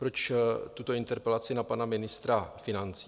Proč tuto interpelaci na pana ministra financí?